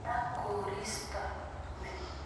Ya koristo ni